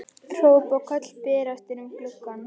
Hróp og köll berast inn um gluggann.